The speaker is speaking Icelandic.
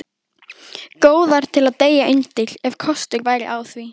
Góðar til að deyja undir, ef kostur væri á því.